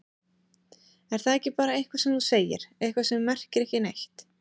Er það ekki bara eitthvað sem þú segir, eitthvað sem merkir ekki neitt?